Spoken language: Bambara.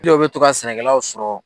dɔ bɛ to ka sɛnɛkɛlaw sɔrɔ.